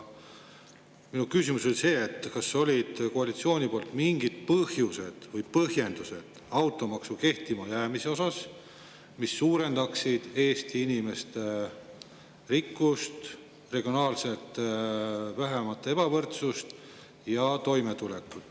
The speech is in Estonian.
Minu küsimus on see, kas koalitsioonil olid mingid põhjused ja põhjendused automaksu kehtima jäämise kohta, mis suurendaksid Eesti inimeste rikkust, vähendaksid regionaalset ebavõrdsust ja toimetulekut.